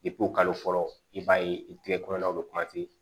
kalo fɔlɔ i b'a ye i tɛgɛ kɔnɔlaw bɛ